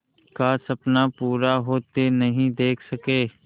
का सपना पूरा होते नहीं देख सके